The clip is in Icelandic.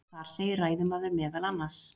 Þar segir ræðumaður meðal annars: